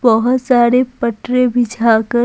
बहुत सारे पटरे बिछा कर--